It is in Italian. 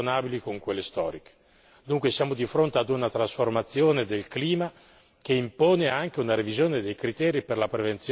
Dunque siamo di fronte a una trasformazione del clima che impone anche una revisione dei criteri per la prevenzione e per la protezione.